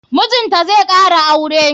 Mijinta zai kara aure.